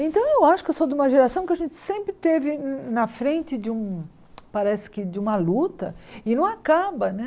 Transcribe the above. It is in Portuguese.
Então eu acho que eu sou de uma geração que a gente sempre esteve na frente de um, parece que de uma luta, e não acaba, né?